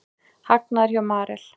Hagnaður hjá Marel